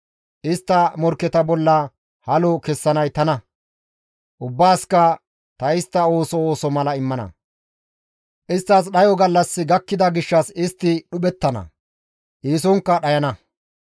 Istta morkketa bolla halo kessanay tana; ubbaasikka ta istta ooso ooso mala immana; isttas dhayo gallassi gakkida gishshas istti dhuphettana; eesonkka dhayana.»